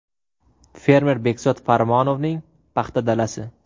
Fermer Bekzod Farmonovning paxta dalasi.